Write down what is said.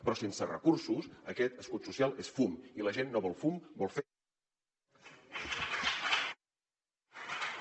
però sense recursos aquest escut social és fum i la gent no vol fum vol fets